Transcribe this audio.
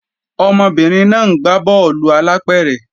Ọmọbìnrin náà ń gbá bọ́ọ̀lù alápẹ̀rẹ̀